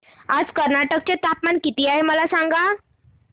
आज कर्नाटक चे तापमान किती आहे मला सांगा